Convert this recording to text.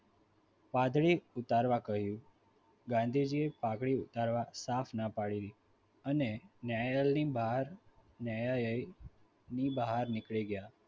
પાઘડી ઉતારવા કહ્યું ગાંધીજીએ પાઘડી ઉતારવા સાપ ના પાડી દીધી અને ન્યાયાલયની બહાર ન્યાયાલય ની બહાર નીકળી ગયા.